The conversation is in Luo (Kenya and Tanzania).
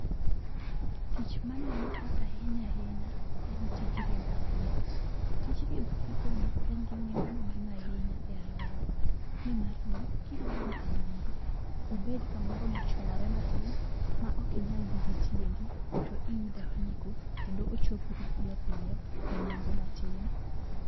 Tich maneno ka ahinya ahinya, en tij riembo apiko. Tij riembo apikoni en gi nengo maduong' ahinya e aluorawa. Nimarni kidwa dhi kamoro, obed kamoro mochwalore matin, maok inyal dhi gitiendi, to iidho apiko kendo ochopi mapiyo piyo enengo matin.